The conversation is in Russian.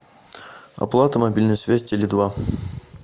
оплата мобильной связи теле два